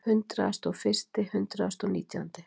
Hundraðasti og fyrsti, hundraðasti og nítjándi.